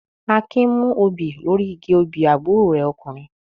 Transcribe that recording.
Akin mú òbí lórí igi obì àbúrò rẹ̀ ọkùnrin.